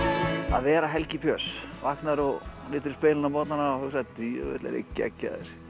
að vera Helgi Björns vaknarðu og lítur í spegil á morgnana og hugsar djöfull er ég geggjaður